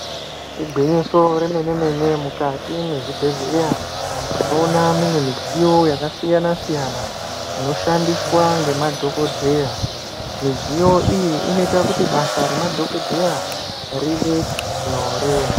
Igwinyiso remene mene mukati mwezvibhedhleya, tinoona mune midziyo yakasiyana siyana inoshandiswa nemadhokodhaya, midziyo iyi inoita kuti basa rema dhokodheya rive nyore.